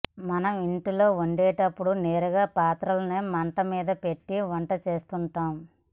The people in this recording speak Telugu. మనం ఇంట్లో వండేటప్పుడు నేరుగా పాత్రలని మంటమీద పెట్టి వంట చేస్తుంటాం